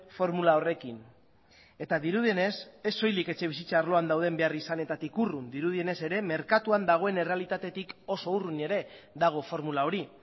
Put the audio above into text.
formula horrekin eta dirudienez ez soilik etxebizitza arloan dauden beharrizanetatik urrun dirudienez ere merkatuan dagoen errealitatetik oso urrun ere dago formula hori